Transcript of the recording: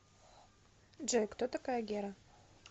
джой кто такая гера